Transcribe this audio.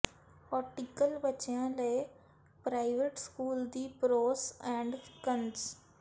ਔਟਟੀਕਲ ਬੱਚਿਆਂ ਲਈ private school ਦੀ ਪ੍ਰੋਸ ਐਂਡ ਕੰਨਜ਼